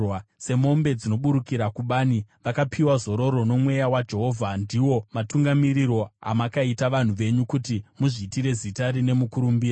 semombe dzinoburukira kubani, vakapiwa zororo noMweya waJehovha. Ndiwo matungamiriro amakaita vanhu venyu kuti muzviitire zita rine mukurumbira.